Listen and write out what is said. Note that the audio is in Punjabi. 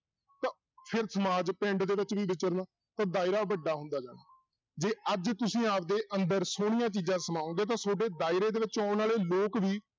ਫਿਰ ਸਮਾਜ ਪਿੰਡ ਦੇ ਵਿੱਚ ਵੀ ਵਿਚਰਨਾ ਤਾਂ ਦਾਇਰਾ ਵੱਡਾ ਹੁੰਦਾ ਜਾਣਾ ਜੇ ਅੱਜ ਤੁਸੀਂ ਆਪਦੇ ਅੰਦਰ ਸੋਹਣੀਆਂ ਚੀਜ਼ਾਂ ਸਮਾਓਗੇ ਤਾਂ ਤੁਹਾਡੇ ਦਾਇਰੇ ਦੇ ਵਿੱਚ ਆਉਣ ਵਾਲੇ ਲੋਕ ਵੀ